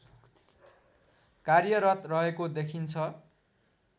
कार्यरत रहेको देखिन्छ